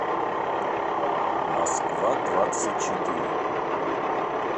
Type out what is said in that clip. москва двадцать четыре